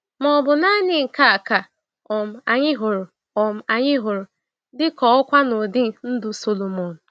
Ma ọ bụ naanị nke a ka um anyị hụrụ um anyị hụrụ dị ka ọkwa n’ọdị ndụ Sọlọmọn?